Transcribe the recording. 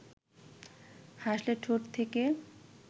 হাসলে ঠোঁট থেকে